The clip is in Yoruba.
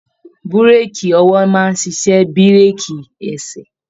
Bureki ọwọ máa n ṣiṣẹ bireki ẹsẹ.